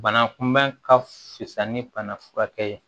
Bana kunbɛn ka fisa ni bana furakɛ ye